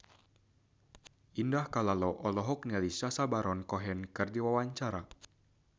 Indah Kalalo olohok ningali Sacha Baron Cohen keur diwawancara